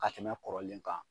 Ka tɛmɛ kɔrɔlen kan